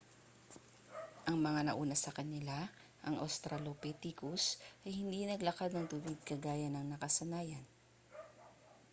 ang mga nauna sa kanila ang australopithecus ay hindi naglakad ng tuwid kagaya ng nakasanayan